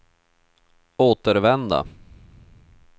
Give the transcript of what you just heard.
återvända